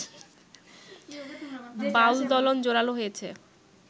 বাউলদলন জোরালো হয়েছে